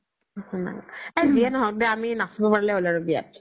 অ জি য়ে নহক দে আমি নাচবা পাৰলি হ্'ল আৰু বিয়াত